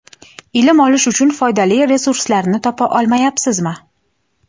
Ilm olish uchun foydali resurslarni topa olmayabsizmi?.